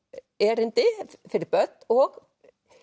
erindi fyrir börn og